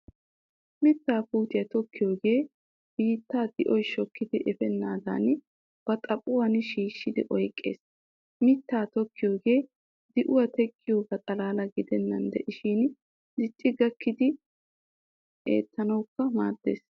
Mittaa puutiyaa tokkiyoogee biittaa d'oy shokkidi efennaadan ba xaphuwaan shishshidi oyqqees. Mittaa tokkiyoogee de'uwaa teqqiyoogaa xalla gidennan diishin dicci gakkidi eettuwawukka maaddees.